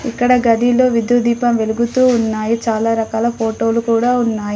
ఇక్కడ గదిలో విద్యుత్ దీపం వెలుగుతూ ఉన్నాయి. చాలా రకాల ఫోటోలు కుడా ఉన్నాయి.